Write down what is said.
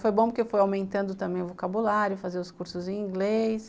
Foi bom porque foi aumentando também o vocabulário, fazer os cursos em inglês.